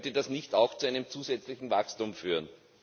Könnte das nicht auch zu einem zusätzlichen Wachstum führen?